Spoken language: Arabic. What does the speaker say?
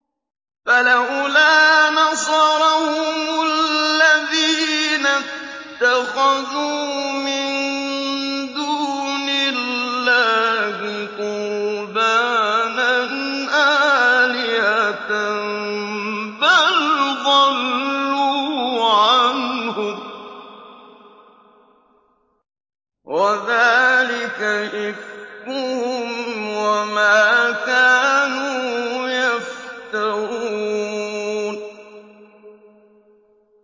فَلَوْلَا نَصَرَهُمُ الَّذِينَ اتَّخَذُوا مِن دُونِ اللَّهِ قُرْبَانًا آلِهَةً ۖ بَلْ ضَلُّوا عَنْهُمْ ۚ وَذَٰلِكَ إِفْكُهُمْ وَمَا كَانُوا يَفْتَرُونَ